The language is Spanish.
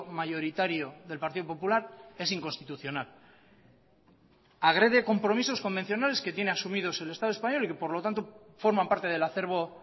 mayoritario del partido popular es inconstitucional agrede compromisos convencionales que tiene asumidos el estado español y que por lo tanto forman parte del acervo